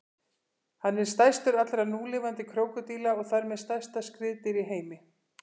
Hann er stærstur allra núlifandi krókódíla og þar með stærsta skriðdýr í heimi.